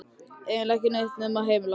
Eiginlega ekki neitt nema heimili okkar.